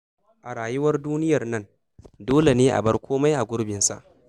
A rayuwar duniyar nan, dole ne a bar kome a gurbinsa.